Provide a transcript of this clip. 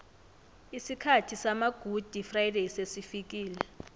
isikhathi samagudi frayideyi sesifikile